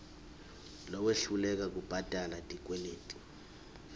lowehluleka kubhadala tikweleti